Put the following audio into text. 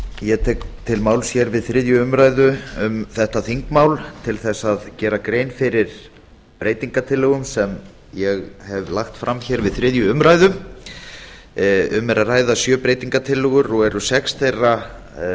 ég tek til máls hér við þriðju umræðu um þetta þingmál til þess að gera grein fyrir breytingartillögum sem ég hef lagt fram hér við þriðju umræðu um er að ræða sjö breytingartillögur og eru sex þeirra